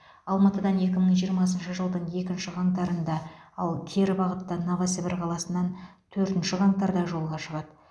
алматыдан екі мың жиырмасыншы жылдың екінші қаңтарында ал кері бағытта новосібір қаласынан төртінші қаңтарда жолға шығады